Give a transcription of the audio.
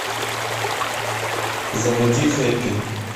заводи хэппи